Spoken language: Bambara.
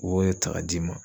U b'o ye ta k'a d'i ma